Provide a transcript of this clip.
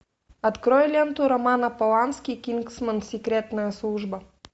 открой ленту романа полански кингсман секретная служба